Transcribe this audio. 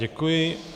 Děkuji.